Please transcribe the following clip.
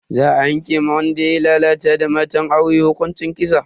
Za a yanke wa wanda yayi lalata da matan aure hukuncin kisa.